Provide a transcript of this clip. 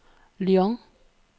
Lyon